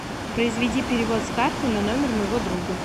произведи перевод с карты на номер моего друга